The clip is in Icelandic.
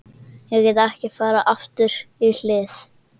Ég get ekki farið aftur í hlið